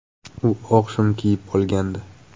U oq shim kiyib olgandi.